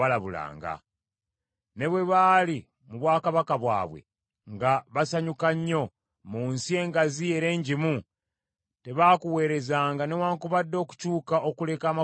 Ne bwe baali mu bwakabaka bwabwe, nga basanyuka nnyo, mu nsi engazi era enjimu, tebaakuweerezanga newaakubadde okukyuka okuleka amakubo gaabwe amabi.